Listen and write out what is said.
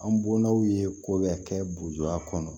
An bɔnnaw ye ko bɛɛ kɛ buwa kɔnɔ